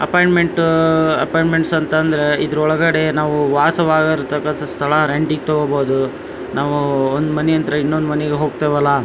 ಅಪಾಯಿಂಟ್ಮೆಂಟಅಅ appointments ಅಂತಂದ್ರೆ ಇದ್ರ ಒಳಗಡೆ ನಾವು ವಾಸ ವಾಗಿರ್ತಕ್ಕಂತಹ ಸ್ಥಳ ರೆಂಟಿಗ್ ತಕೋಬಹುದು ನಾವೂ ಒಂದ್ ಮನೆಯಿಂದ ಇನ್ನೊಂದ್ ಮನೆಗ್ ಹೋಗ್ತೇವಲ್ಲ --